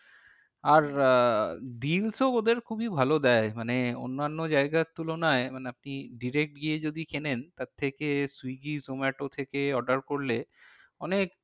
আর আহ deals ও ওদের খুবই ভালো দেয় মানে অন্যান্য জায়গার তুলনায় মানে আপনি direct গিয়ে যদি কেনেন তার থেকে সুইগী জোমাটো থেকে order করলে অনেক